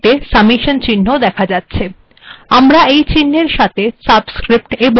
এটি দেখে নেওয়া যাক এটি হল সামেসন চিহ্ন